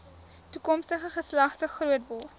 toekomstige geslagte grootword